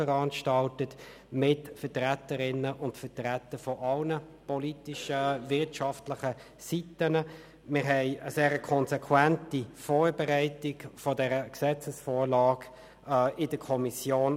Wir haben Hearings mit Vertreterinnen und Vertretern aller politischen und wirtschaftlichen Seiten veranstaltet und eine sehr konsequente Vorbereitung dieser Gesetzesvorlage vorgenommen.